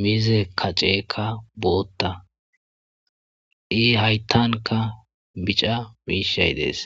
miizze katstseka bootta, i haytankka biica miishi dees.